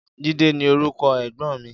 Jide ni órúkò ègbòn mi